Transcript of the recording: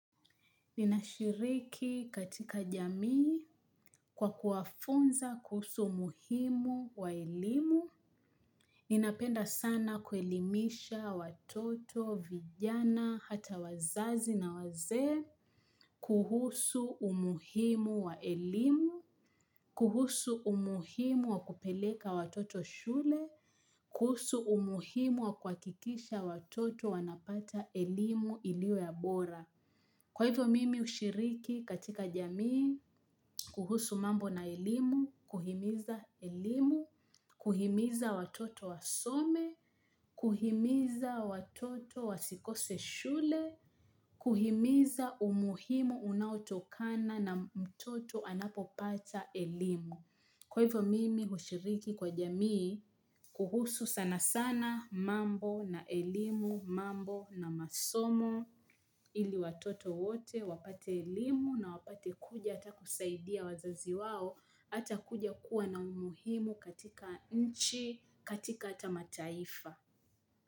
Ninashiriki katika jamii kwa kuwafunza kuhusu umuhimu wa elimu. Ninapenda sana kuelimisha watoto, vijana, hata wazazi na wazee. Kuhusu umuhimu wa ilimu. Kuhusu umuhimu wa kupeleka watoto shule. Kuhusu umuhimu wa kwa kuhakikisha watoto wanapata elimu iliyo ya bora. Kwa hivyo mimi hushiriki katika jamii, kuhusu mambo na elimu, kuhimiza elimu, kuhimiza watoto wasome, kuhimiza watoto wasikose shule, kuhimiza umuhimu unautokana na mtoto anapopata elimu. Kwa hivyo mimi hushiriki kwa jamii kuhusu sana sana mambo na elimu mambo na masomo ili watoto wote wapate elimu na wapate kuja hata kusaidia wazazi wao hata kuja kuwa na umuhimu katika nchi katika hata mataifa.